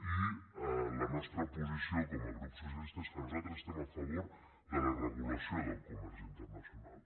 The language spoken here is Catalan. i la nostra posició com a grup socialista és que nosaltres estem a favor de la regulació del comerç internacional